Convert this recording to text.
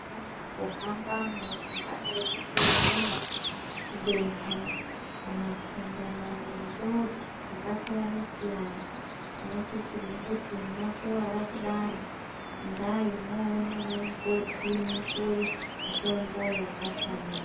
Mukuhambamwu ungadai kupunhunwa kudontha kana kusanga nenjodzi dzakasiyana siyana tinosisirwe kuti mwakuwara kudaro endai mwoona ana mukoti mupuwe mitombo yakafanira.